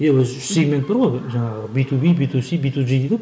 иә бір үш сегмент бар ғой жаңағы би ту би би ту си би ту жи дейді ғой